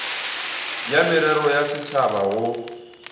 ya merero ya setšhaba go